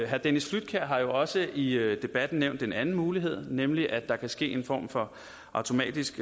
herre dennis flydtkjær har jo også i debatten nævnt en anden mulighed nemlig at der kan ske en form for automatisk